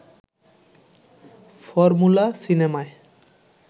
formula সিনেমায়